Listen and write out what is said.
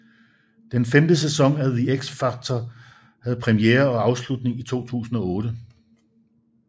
Den femte sæson af The X Factor havde premiere og afslutning i 2008